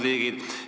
... riigid.